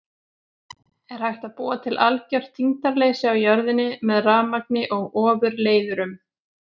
Er hægt að búa til algjört þyngdarleysi á jörðinni með rafmagni og ofurleiðurum?